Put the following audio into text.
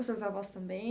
Os seus avós também?